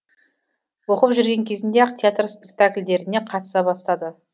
оқып жүрген кезінде ақ театр спектакльдеріне қатыса бастады